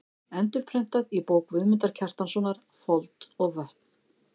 Endurprentað í bók Guðmundar Kjartanssonar: Fold og vötn.